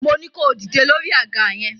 Moní kó dìde lórí àga yẹn!